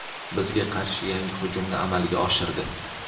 bizga qarshi yangi hujumni amalga oshirdi.